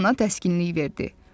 Anası ona təskinlik verdi.